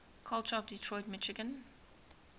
culture of detroit michigan